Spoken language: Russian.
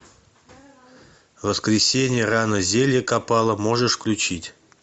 в воскресенье рано зелье копала можешь включить